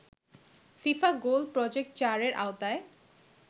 FIFA goal project ৪ এর আওতায়